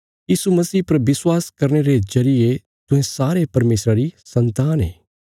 यीशु मसीह पर विश्वास करने रे जरिये तुहें सारे परमेशरा री सन्तान ये